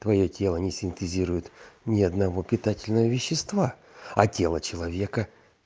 твоё тело не синтезирует ни одного питательного вещества а тело человека